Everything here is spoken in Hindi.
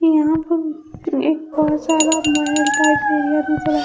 यहां पे एक बहुत सारा महल टाइप एरिया नजर आ--